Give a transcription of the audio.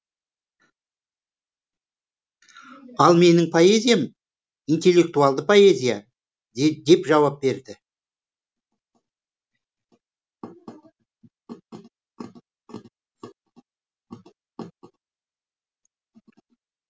ал менің поэзиям интеллектуалды поэзия деп жауап берді